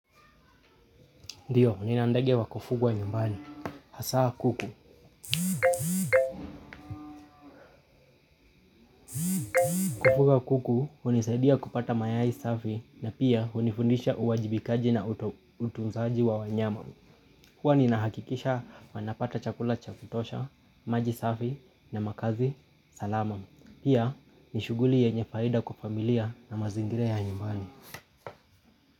Ndiyo, nina ndege wa kufugwa nyumbani, hasaa kuku. Kufuga kuku hunisaidia kupata mayai safi na pia hunifundisha uwajibikaji na utunzaji wa wanyama. Huwa ninahakikisha wanapata chakula cha kutosha, maji safi na makazi salama. Pia, ni shughuli yenye faida kwa familia na mazingira ya nyumbani.